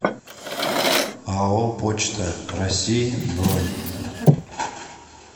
ао почта россии бронь